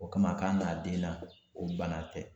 O kama k'a nana b'a den na , o bana tɛ.